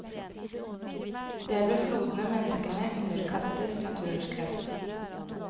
Det er ved flodene menneskene underkastes naturens kraft.